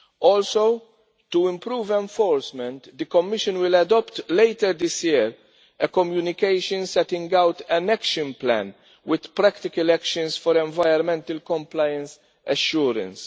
Also to improve enforcement, the Commission will adopt later this year a communication setting out an action plan with practical actions for environmental compliance assurance.